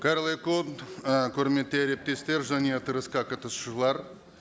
қайырлы күн ы құрметті әріптестер және отырысқа қатысушылар